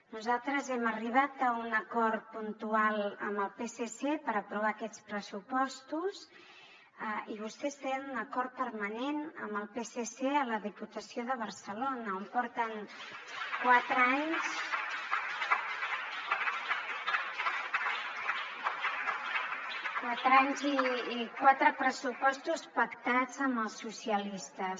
nosaltres hem arribat a un acord puntual amb el psc per aprovar aquests pressupostos i vostès tenen un acord permanent amb el psc a la diputació de barcelona on porten quatre anys i quatre pressupostos pactats amb els socialistes